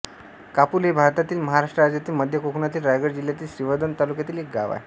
कापोली हे भारतातील महाराष्ट्र राज्यातील मध्य कोकणातील रायगड जिल्ह्यातील श्रीवर्धन तालुक्यातील एक गाव आहे